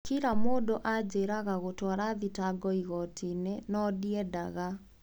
Kira mũndũ anjeraga gutuara thitango igotiini , noo ndiendaga.